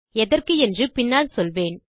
எதற்கு என்று பின்னால் சொல்வேன்